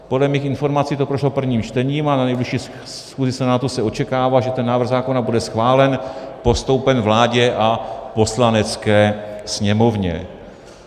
Podle mých informací to prošlo prvním čtením a na nejbližší schůzi Senátu se očekává, že ten návrh zákona bude schválen, postoupen vládě a Poslanecké sněmovně.